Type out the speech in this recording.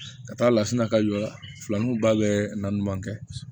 Ka taa lasina ka jɔ filaninba bɛ na ɲuman kɛ